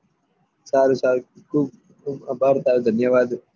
સારું સારું ખુબ ખુબ અભાર તારું ધન્નેવાદ